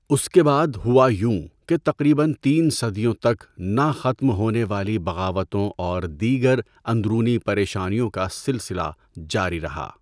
اس کے بعد ہوا یوں کہ تقریباََ تین صدیوں تک 'نہ ختم ہونے والی بغاوتوں اور دیگر اندرونی پریشانیوں' کا سلسلہ جاری رہا۔